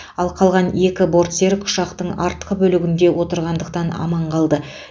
ал қалған екі бортсерік ұшақтың артқы бөлігінде отырғандықтан аман қалды